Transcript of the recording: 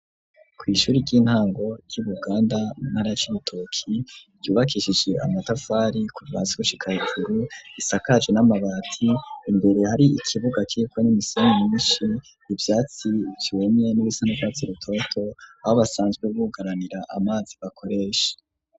Kw'ishuri ry'intango, ry'i Buganda, mu ntara ya Cibitoki, ryubakishije amatafari, kuva hasi, gushika hejuru, risakaje n'amabati; imbere hari ikibuga, kiriko n'imisenyi myinshi, ivyatsi vyumye, n'ibisa n'urwatsi rutoto, aho basanzwe, bugaranira amazi, bakoresha.